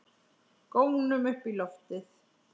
Gónum upp í loftið.